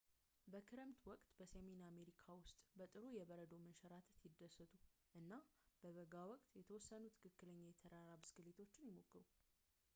በክረምት ወቅት በሰሜን አሜሪካ ውስጥ በጥሩ የበረዶ መንሸራተት ይደሰቱ እና በበጋ ወቅት የተወሰኑ ትክክለኛ የተራራ ብስክሌት ይሞክሩ